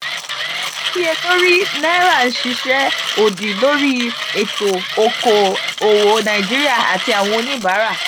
àìníyẹlori náírà ń ṣiṣẹ́ òdì lórí ètò oko òwò nàìjíríà àti àwọn oníbàárà.